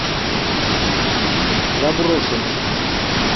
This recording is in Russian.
заброшенный